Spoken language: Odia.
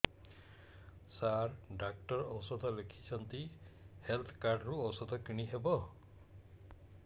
ସାର ଡକ୍ଟର ଔଷଧ ଲେଖିଛନ୍ତି ହେଲ୍ଥ କାର୍ଡ ରୁ ଔଷଧ କିଣି ହେବ